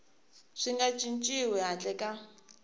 swi nga cinciwi handle ka